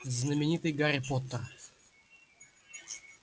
знаменитый гарри поттер